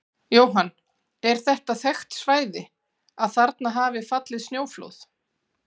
Jóhann: Er þetta þekkt svæði, að þarna hafa fallið snjóflóð?